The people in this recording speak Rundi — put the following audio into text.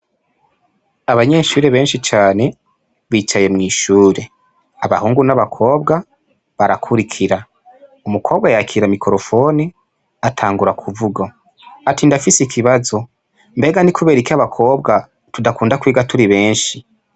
Abanyeshure benshi cane bicaye mw'ishure, abahungu n'abakobwa barakurikira. Umukobwa yakira mikorofone atangura kuvuga ati ndafise ikibazo: mbega ni kuberiki abakobwa tudakunda kwiga turi benshi?